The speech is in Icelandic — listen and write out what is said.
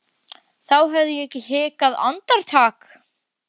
þá hefði ég ekki hikað andartak.